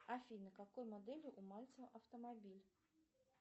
афина какой модели у мальцева автомобиль